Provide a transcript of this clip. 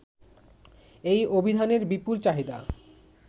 এ অভিধানের বিপুল চাহিদা